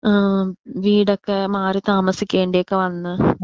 ആ വീടൊക്കെ മാറി താമസിക്കേണ്ടി ഒക്കെ വന്ന്.